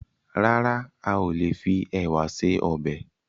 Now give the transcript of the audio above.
Rárá, a ò lè fi ẹ̀wà se ọbẹ̀